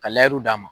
Ka d'a ma